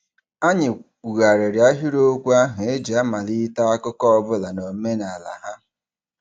Anyị kwughariri ahịrịokwu ahụ e ji amalite akụkọ ọbụla n'omenala ha.